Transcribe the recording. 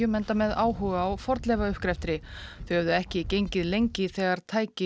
enda með áhuga á fornleifauppgrefti þau höfðu ekki gengið lengi þegar tæki